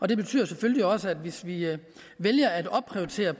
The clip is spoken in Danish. det betyder selvfølgelig også at hvis vi vælger at opprioritere